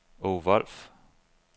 Aage Wolff